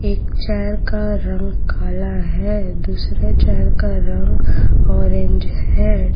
एक चेयर का रंग काला है दूसरे चेयर का रंग ऑरेंज है।